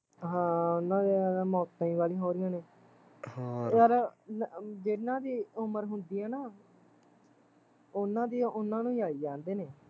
ਹਾਂ ਉਨਾਂ ਦੀਆ ਤੇ ਮੌਤਾਂ ਈ ਵਾਲੀਆ ਹੋ ਰਹੀਆ ਨੇ ਯਾਰ ਜਿਹਨਾਂ ਦੀ ਉਮਰ ਹੁੰਦੀ ਐ ਨਾ ਉਹਨਾਂ ਦੀਆ ਉਹਨਾਂ ਨੂੰ ਈ ਆਈ ਜਾਂਦੇ ਨੇ